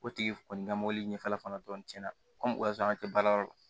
O tigi kɔni ka mɔbili ɲɛfɛla fana dɔrɔn tiɲɛna ko o y'a sɔrɔ an te baarayɔrɔ la